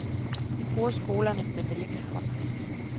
Vi bruger skolerne men vil ikke samarbejde.